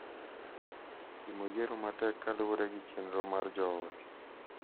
Timo yiero matek kaluwore gi chenro mar joot .